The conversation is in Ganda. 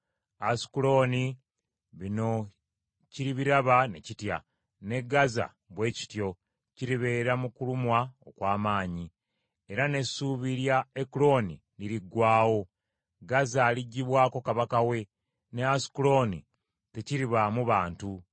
Asukulooni bino kiribiraba ne kitya; ne Gaza bwe kityo kiribeera mu kulumwa okw’amaanyi. Era n’essuubi lya Ekuloni liriggwaawo; Gaza aliggyibwako kabaka we, ne Asukulooni tekiribaamu bantu.